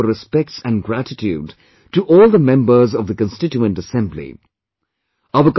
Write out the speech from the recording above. Let us pay our respects and gratitude to all the members of the constituent assembly